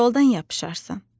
Koldan yapışarsan.